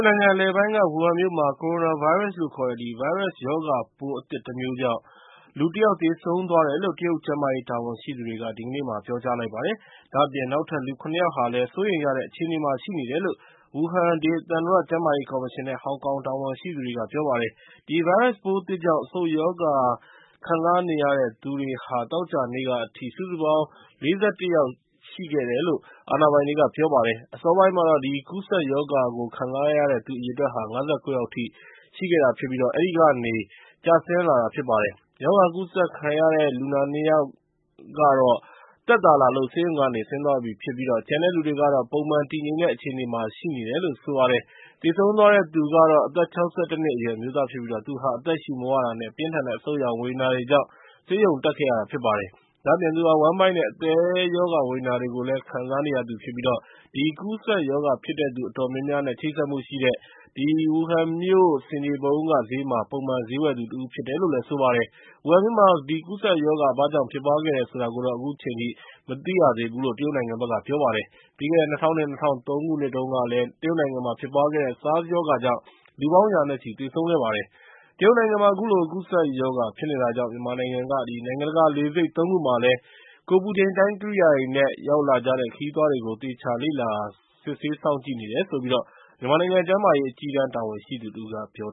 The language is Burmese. နိုင်ငံ အလယ်ပိုင်းက ဝူဟန်မြို့မှာ Coronavirus လို့ခေါ်တဲ့ ဗိုင်းရပ်ရောဂါပိုး အသစ်တမျိုးကြောင့် လူတယောက် သေဆုံးသွားတယ်လို့ တရုတ်ကျန်းမာရေး တာဝန်ရှိသူတွေက ဒီကနေ့မှာ ပြောကြားလိုက်ပါတယ်။ ဒါ့အပြင် နောက်ထပ် လူ ၇ ယောက်လည်း စိုးရိမ်ရတဲ့ အခြေအနေမှာ ရှိတယ်လို့ ဝူဟန် ဒေသန္တရ ကျန်းမာရေးကော်မရှင်နဲ့ ဟောင်ကောင်တာဝန်ရှိသူတွေက ပြောပါတယ်။ အဲဒီဗိုင်းရပ်ပိုးသစ်ကြောင့် အဆုတ်ရောဂါ ခံစားနေရတဲ့သူဟာ သောကြာနေ့အထိ စုစုပေါင်း ၄၁ ယောက်ရှိတယ်လို့ အာဏာပိုင်တွေက ပြောပါတယ်။ အစောပိုင်းကတော့ ဒီကူးစက်ရောဂါကို ခံစားနေရတဲ့သူ အရေအတွက်ဟာ ၅၉ ယောက်အထိရှိခဲ့ပြီး အဲဒီကနေ ကျဆင်းလာတာဖြစ်ပါတယ်။ ရောဂါကူးစက်ခံလူနာ အနည်းဆုံး ၂ ယောက်ကိုတော့ သက်သာလာလို့ ဆေးရုံကနေ ဆင်းသွားပြီဖြစ်ပြီး ကျန်တဲ့လူတွေကတော့ ပုံမှန်တည်ငြိမ်တဲ့ အခြေအနေမှာ ရှိတယ်လို့ ဆိုပါတယ်။ သေဆုံးသွားတဲ့သူဟာ အသက် ၆၁ နှစ်အရွယ် အမျိုးသားဖြစ်ပြီး သူဟာ အသက်ရှူမဝတာနဲ့ ပြင်းထန်တဲ့ အဆုတ်ရောင်ဝေဒနာကြောင့် ဆေးရုံတက်ခဲ့ရတာ ဖြစ်ပါတယ်။ ဒါ့အပြင် သူဟာ ဝမ်းဗိုက်နဲ့ အသည်းရောဂါ ဝေဒနာတွေလည်း ခံစားနေရသူဖြစ်ပြီး ဒီကူးစက်ရောဂါဖြစ်တဲ့သူ အတော်များများနဲ့ ချိတ်ဆက်မှုရှိတဲ့ ဝူဟန်မြို့ ဆင်ခြေဖုံးက ဈေးမှာ ပုံမှန်ဈေးဝယ်သူတဦး ဖြစ်ပါတယ်။ ဝူဟန်မြို့မှာ ဒီကူးစက်ရောဂါ ဘာကြောင့်ဖြစ်ပွားခဲ့တယ် ဆိုတာကိုတော့ အခုချိန်ထိ မသိရသေးဘူးလို့ တရုတ်နိုင်ငံက ပြောပါတယ်။ ပြီးခဲ့တဲ့ ၂၀၀၂-၂၀၀၃ ခုနှစ်တုန်းကလည်း တရုတ်နိုင်ငံမှာ ဖြစ်ပွားခဲ့တဲ့ SARS ရောဂါကြောင့် လူပေါင်း ရာနဲ့ချီ သေဆုံးခဲ့ပါတယ်။ တရုတ်နိုင်ငံမှာ အခုလို ကူးစက်ရောဂါ ဖြစ်နေတာကြောင့် မြန်မာနိုင်ငံက နိုင်ငံတကာလေဆိပ် ၃ ခုမှာလည်း ကိုယ်ပူချိန်တိုင်း ကိရိယာတွေနဲ့ ရောက်လာကြတဲ့ ခရီးသွားတွေကို သေချာလေ့လာ စစ်ဆေးစောင့်ကြည့်နေတယ်လို့ မြန်မာနိုင်ငံ ကျန်းမာရေး အကြီးတန်းတာဝန်ရှိသူ တဦးက ပြော